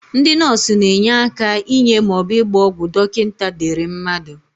Ndị nọọsụ na-enye aka inye maọbụ ịgba ọgwụ dọkịnta dere mmadụ.